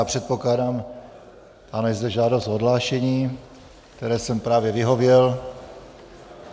Já předpokládám - ano, je zde žádost o odhlášení, které jsem právě vyhověl.